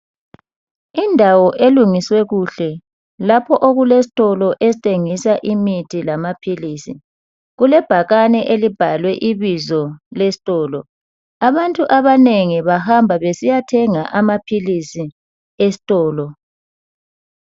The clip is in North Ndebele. Indawo elungiswe kuhle lapho okule stolo esthengisa imithi lamaphilisi .Kulebhakane elibhalwe ibizo lestolo .Abantu abanengi bahamba besiyathenga amaphilisi estolo.